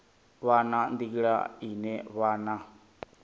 vha na nḓila ine vhana